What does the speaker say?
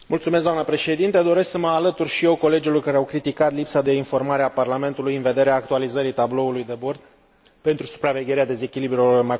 Doresc să mă alătur și eu colegilor care au criticat lipsa de informare a Parlamentului în vederea actualizării tabloului de bord pentru supravegherea dezechilibrelor macroeconomice.